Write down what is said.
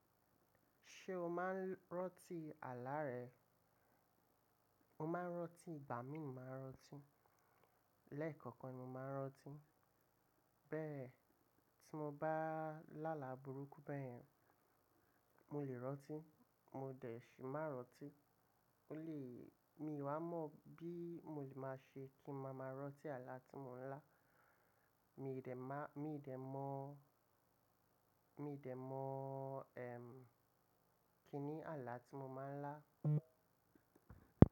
Ṣé o máa ń rántí àlà rẹ? Mo máa ń rántí, bàámi ni mo máa ń rántí. Lẹ́ẹ̀kọ̀kan ni mo máa ń rọ́tí. Bẹ́ẹ̀ tí mo bá lá àlá burúkú bẹ́ẹ̀, mo lè rọ́tí, mo dẹ̀ le máa rọ́tí. Ó lè-- mi wá mọ̀ bí mo lè máa ṣe kí ma máa rán tí àlà té mi ńá. Mi dẹ má-- mi dẹ mọ̀, mi dẹ mọ̀, ẹm, kíni àlà tí mo máa ń lá.